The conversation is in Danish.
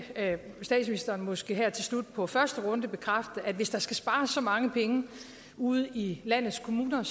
statsministeren måske her til slut på første runde bekræfte at hvis der skal spares så mange penge ude i landets kommuner